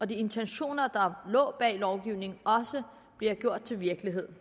de intentioner der lå bag lovgivningen også bliver til virkelighed